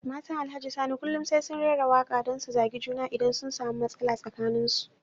Matan Alhaji Sani kullum sai sun raira waka don su zagi juna idan sun samu matsala tsakanin su.